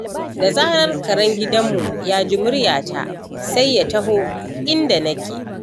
Da zarar karen gidanmu ya ji muryata sai ya taho inda nake.